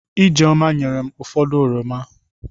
Ijeoma nyerem ụfọdụ oroma.